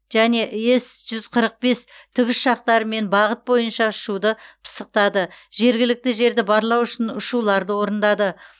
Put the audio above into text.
және ес жүз қырық бес тікұшақтарымен бағыт бойынша ұшуды пысықтады жергілікті жерді барлау үшін ұшуларды орындады